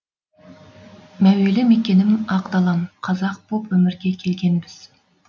мәуелі мекенім ақ далам қазақ боп өмірге келгенбіз